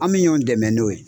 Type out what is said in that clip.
An bi ɲɔn dɛmɛ n'o ye.